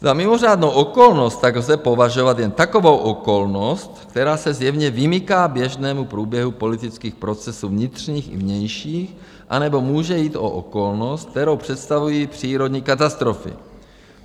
Za mimořádnou okolnost tak lze považovat jen takovou okolnost, která se zjevně vymyká běžnému průběhu politických procesů vnitřních i vnějších, anebo může jít o okolnost, kterou představují přírodní katastrofy.